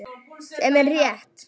Sem er rétt.